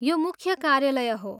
यो मुख्य कार्यालय हो।